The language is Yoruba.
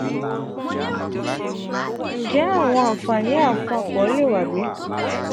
njẹ awọn anfani apapọ le wa bi?